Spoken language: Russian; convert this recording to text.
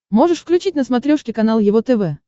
можешь включить на смотрешке канал его тв